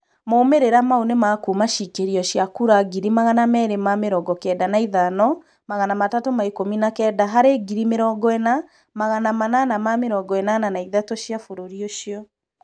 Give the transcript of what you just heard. Maumĩrĩra maũ nĩmakuma cĩkĩrio cĩa kũra 295319 harĩ 40883 cĩa bũrũri ucĩo